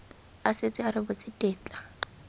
a setse a rebotse tetla